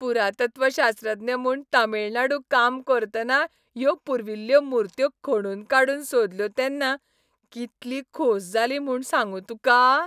पुरातत्वशास्त्रज्ञ म्हूण तामिळनाडू काम करतना ह्यो पुर्विल्ल्यो मुर्त्यो खणून काडून सोदल्यो तेन्ना कितली खोस जाली म्हूण सांगूं तुका.